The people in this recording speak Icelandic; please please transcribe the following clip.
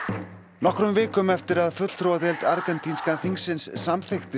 nokkrum vikum eftir að fulltrúadeild argentínska þingsins samþykkti